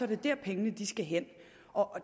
det der pengene skal hen